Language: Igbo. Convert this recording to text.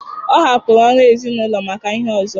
Ọ hapụrụ ọrụ ezinụlọ maka ihe ọzọ